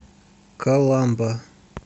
каламба